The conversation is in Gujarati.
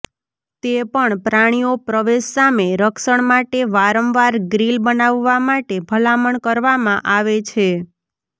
તે પણ પ્રાણીઓ પ્રવેશ સામે રક્ષણ માટે વારંવાર ગ્રિલ બનાવવા માટે ભલામણ કરવામાં આવે છે